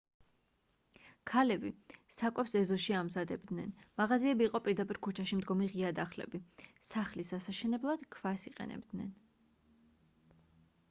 ქალები საკვებს ეზოში ამზადებდნენ მაღაზიები იყო პირდაპირ ქუჩაში მდგომი ღია დახლები სახლის ასაშენებლად ქვას იყენებდნენ